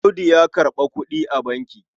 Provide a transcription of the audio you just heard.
Audu ya karɓa kuɗi a banki.